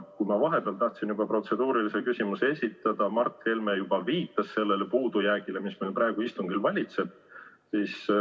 Vahepeal ma tahtsin juba protseduurilise küsimuse esitada, aga Mart Helme juba viitas sellele puudujäägile, mis meil praegu istungil valitseb.